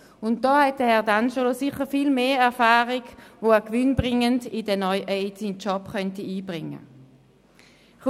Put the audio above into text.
Hier verfügt Herr D’Angelo sicher über viel mehr Erfahrung, die er gewinnbringend in seinen neuen Beruf einbringen könnte.